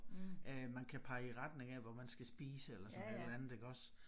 Øh man kan pege i retning af hvor man skal spise eller sådan et eller andet iggås